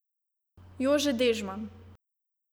Jože Dežman.